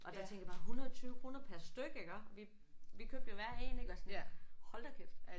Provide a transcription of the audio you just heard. Og der tænker jeg bare 120 kroner per styk iggå. Vi vi købte jo hver en ik og sådan hold da kæft